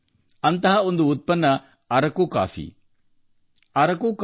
ಅಂತಹ ಒಂದು ಉತ್ಪನ್ನವೆಂದರೆ ಅರಕು ಕಾಫಿ